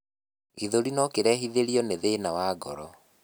gĩthũri nokirehithirio ni thina wa ngoro